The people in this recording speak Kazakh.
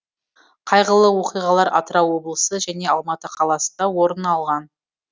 қайғылы оқиғалар атырау облысы және алматы қаласында орын алған